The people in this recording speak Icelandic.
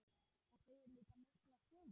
Það segir líka mikla sögu.